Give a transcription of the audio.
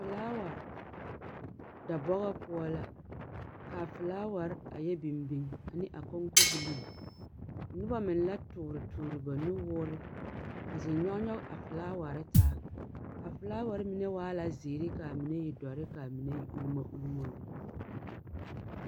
Felaawa, dɔbɔgɔ poɔ la, kaa felaaware a yɛ biŋ biŋ ane a koŋkobilii. Noba meŋ la toore toore ba nuwoore, a zeŋ nyɔg nyɔg a felaaware taa. A felaaware mine waa la zeere kaa mine e dɔre kaa mine e ulmo ulmo lɛ.